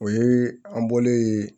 O ye an bɔlen yen